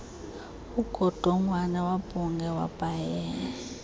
ungodongwana wabhungea wabhaea